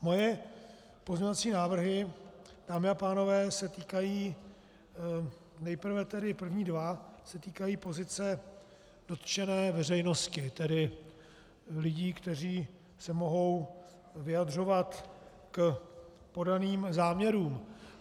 Moje pozměňovací návrhy, dámy a pánové, se týkají - nejprve tedy první dva se týkají pozice dotčené veřejnosti, tedy lidí, kteří se mohou vyjadřovat k podaným záměrům.